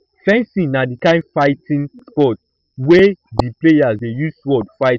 fencing na di kind fighting sport wey di players dey use sword fight each other